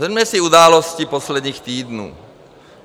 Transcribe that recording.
Shrňme si události posledních týdnů.